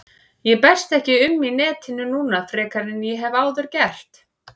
Ég berst ekki um í netinu núna frekar en ég hef áður getað.